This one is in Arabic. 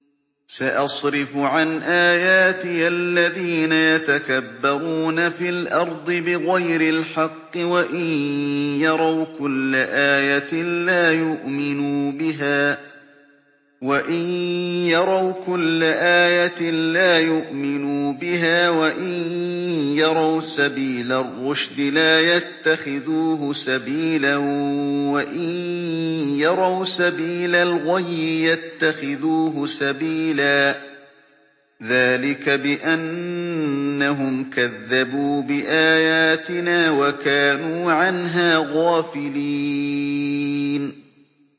سَأَصْرِفُ عَنْ آيَاتِيَ الَّذِينَ يَتَكَبَّرُونَ فِي الْأَرْضِ بِغَيْرِ الْحَقِّ وَإِن يَرَوْا كُلَّ آيَةٍ لَّا يُؤْمِنُوا بِهَا وَإِن يَرَوْا سَبِيلَ الرُّشْدِ لَا يَتَّخِذُوهُ سَبِيلًا وَإِن يَرَوْا سَبِيلَ الْغَيِّ يَتَّخِذُوهُ سَبِيلًا ۚ ذَٰلِكَ بِأَنَّهُمْ كَذَّبُوا بِآيَاتِنَا وَكَانُوا عَنْهَا غَافِلِينَ